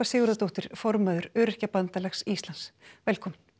Sigurðardóttir formaður Öryrkjabandalags Íslands velkomin